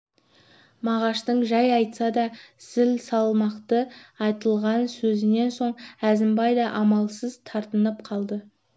мағаштың жай айтса да зіл салмақты айтылған сөзінен соң әзімбай да амалсыз тартынып қалды